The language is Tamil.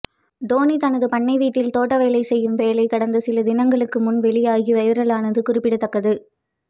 டோனி தனது பண்ணை வீட்டில் தோட்ட வேலை செய்யும் வேலை கடந்த சில தினங்களுக்கு முன்பு வெளியாகி வைரலானது குறிப்பிடத்தக்கது